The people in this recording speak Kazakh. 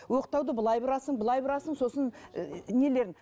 оқтауды былай бұрасың былай бұрасың сосын ііі нелерін